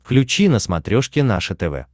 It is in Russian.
включи на смотрешке наше тв